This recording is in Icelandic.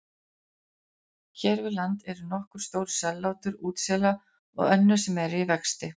Hér við land eru nokkur stór sellátur útsela og önnur sem eru í vexti.